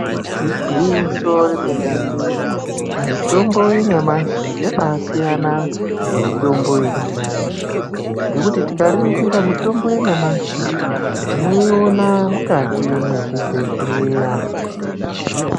Igwinyiso remenemene mitombo yanyamashi yabaasiyana nemitombo yekudhaya ngekuti tikaningira mitombo yanyamashi tinoiona mukati mezvibhedhleya.